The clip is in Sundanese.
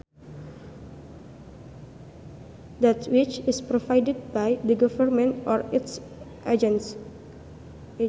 That which is provided by the government or its agents